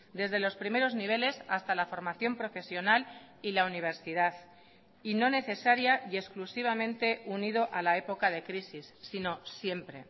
desde los primeros niveles hasta la formación profesional y la universidad y no necesaria y exclusivamente unido a la época de crisis sino siempre